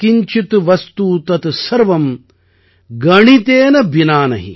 யத் கிஞ்சித் வஸ்து தத் சர்வம் கணிதேன பினா நஹி